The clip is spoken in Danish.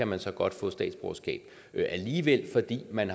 man så godt få statsborgerskab alligevel fordi man